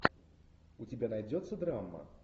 у тебя найдется драма